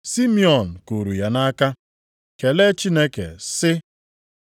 Simiọn kuuru ya nʼaka, kelee Chineke sị,